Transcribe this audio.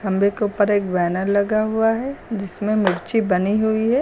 खंभे के ऊपर एक बैनर लगा हुआ है जिसमें मिर्ची बनी हुई है।